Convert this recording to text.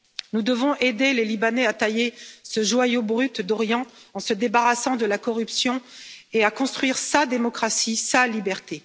Nous devons aider les Libanais à tailler ce joyau brut d'Orient en se débarrassant de la corruption et à construire sa démocratie et sa liberté.